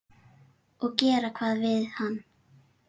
Og gera hvað við hann?